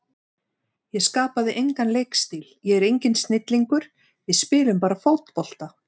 Ég skapaði engan leikstíl, ég er enginn snillingur, við spilum bara fótbolta.